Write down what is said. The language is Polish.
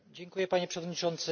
Panie Przewodniczący!